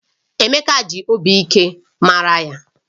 Emeka ji obi ike mara ya